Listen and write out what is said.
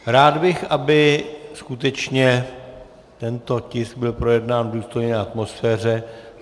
Rád bych, aby skutečně tento tisk byl projednán v důstojné atmosféře.